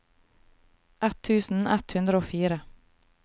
ett tusen ett hundre og fire